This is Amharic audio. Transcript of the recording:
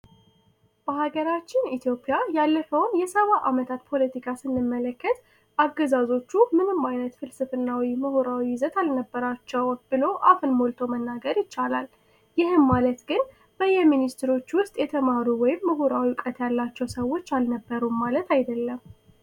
በሀገራችን ኢትዮጵያ ያለፈውን ሰባ አመታት ፖለቲካ ስንመለከት አገዛዞቹ ምንም አይነት ፍልስፍናዊ ና ምሁራዊ ይዘት አልነበራቸውም ብሎ አፈን ሞልቶ መናገር ይቻላል ይህም ማለት ግን በየ ሚኒስትሮች ውስጥ የተማሩ ወይም ምሁራት ያላቸው ሰዎች አልነበሩም ማለት አይደለም